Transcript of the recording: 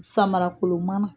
Samarakolon mana.